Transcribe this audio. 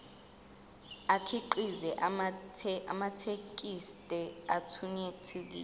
akhiqize amathekisthi athuthukile